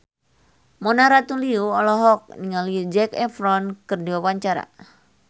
Mona Ratuliu olohok ningali Zac Efron keur diwawancara